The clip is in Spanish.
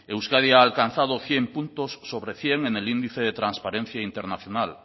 euskadi ha alcanzado cien puntos sobre cien en el índice de transparencia internacional